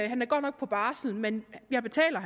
han er godt nok på barsel men jeg betaler